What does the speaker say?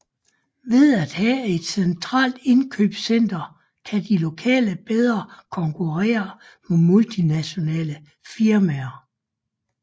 Ved at have et centralt indkøbscenter kan de lokale bedre konkurrere mod multinationale firmaer